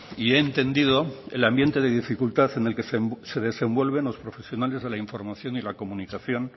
y he entendido el ambiente de dificultad en el que se desenvuelven los profesionales de la información y la comunicación